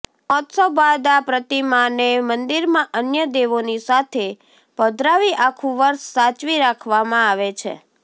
મહોત્સવ બાદ આ પ્રતિમાને મંદિરમાં અન્ય દેવોની સાથે પધરાવી આખુ વર્ષ સાચવી રાખવામાં આવે છે